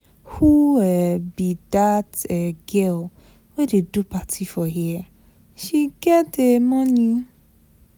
Who um be dat um girl wey dey do party for here? She get um money.